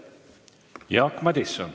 Jaak Madison.